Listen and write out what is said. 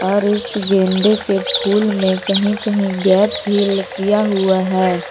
और इस गेंदे के फूल में कहीं-कहीं गैप भी किया हुआ है।